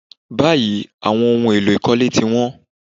Báyìí, àwọn ohun èlò ìkólé ti wón.